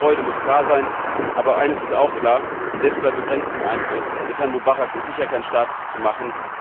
Dennoch muss unsere Freude klar sein, aber eines ist auch klar, selbst bei begrenztem Einfluss Mit Herrn Mubarak ist sicher kein Staat zu machen.